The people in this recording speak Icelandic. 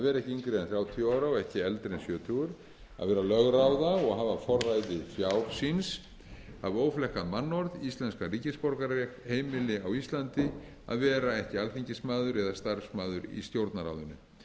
þrjátíu ára og ekki eldri en sjötugur að vera lögráða og hafa forræði fjár síns hafa óflekkað mannorð íslenskan ríkisborgararétt heimili á íslandi að vera ekki alþingismaður eða starfsmaður í stjórnarráðinu